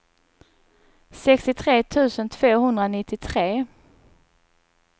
sextiotre tusen tvåhundranittiotre